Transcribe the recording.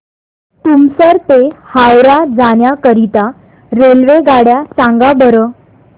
तुमसर ते हावरा जाण्या करीता रेल्वेगाड्या सांगा बरं